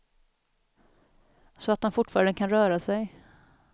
Så att han fortfarande kan röra sig.